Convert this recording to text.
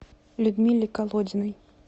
людмиле колодиной